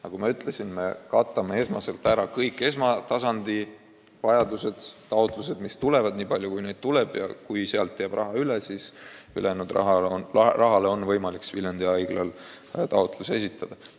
Nagu ma ütlesin, me rahuldame kõigepealt esmatasandi taotlused, nii palju kui neid tuleb, ja kui sealt jääb raha üle, siis ülejäänud raha saamiseks on Viljandi Haiglal võimalik taotlus esitada.